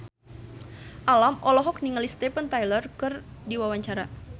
Alam olohok ningali Steven Tyler keur diwawancara